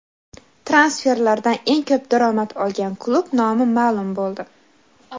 Transferlardan eng ko‘p daromad olgan klub nomi maʼlum bo‘ldi.